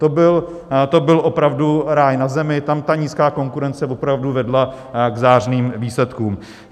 To byl opravdu ráj na zemi, tam ta nízká konkurence opravdu vedla k zářným výsledkům.